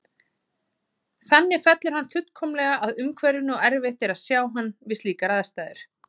Þannig fellur hann fullkomlega að umhverfinu og erfitt er að sjá hann við slíkar aðstæður.